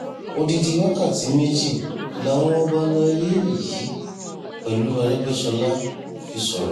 odidi wákàtí méjì làwọn ọba àlàyé yìí pẹ̀lú aregbèsọlá fi sọ̀rọ̀